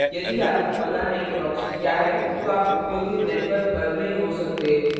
यदि आपको पता नहीं proxy क्या है तो आप उपयोगित network पर नही हो सकते